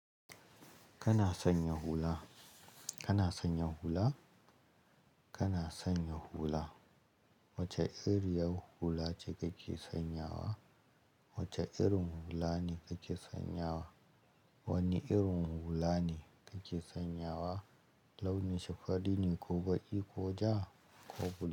Kana sanya hula? Kana sanya hula? Kana sanya hula? Wace iriyar hula ce kake sanyawa? Wace irin hula ne kake sanyawa? Wane irin hula ne kake sanyawa? Launi shi fari ne ko baƙi ko ja ko bilu?